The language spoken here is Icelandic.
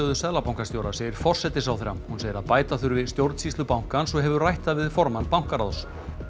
seðlabankastjóra segir forsætisráðherra hún segir að bæta þurfi stjórnsýslu bankans og hefur rætt það við formann bankaráðs